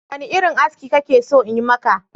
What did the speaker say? Wane irin aski kake so in yi maka?